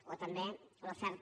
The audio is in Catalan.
o també l’oferta